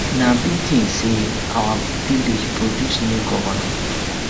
na big thing say na our village produce new governor